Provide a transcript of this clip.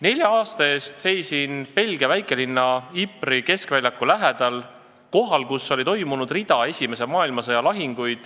Nelja aasta eest seisin ma Belgia väikelinna Ypres'i keskväljaku lähedal, kohal, kus oli toimunud mitu esimese maailmasõja lahingut.